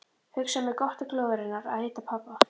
Hugsaði mér gott til glóðarinnar að hitta pabba.